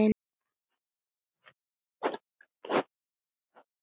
Það verði ekki.